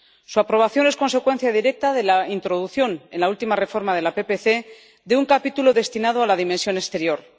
Su aprobación es consecuencia directa de la introducción, en la última reforma de la PPC, de un capítulo destinado a la dimensión exterior.